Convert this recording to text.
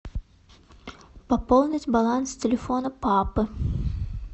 пополнить баланс телефона папы